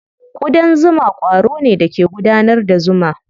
Ƙudan zuma ƙwaro ne da ke gudanar da zuma.